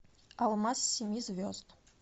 алмаз семи звезд